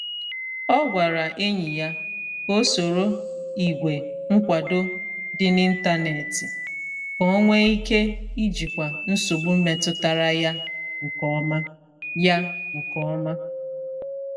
Ọ gwara enyi ya ka ọ soro ìgwè nkwado dị n’ịntanetị ka ọ nwee ike ijikwa nsogbu metutara ya nke ọma. ya nke ọma.